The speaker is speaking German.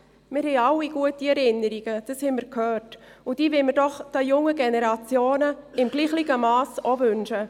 Wir alle haben gute Erinnerungen, das haben wir gehört, und diese wollen wir der jungen Generation im gleichen Mass auch wünschen.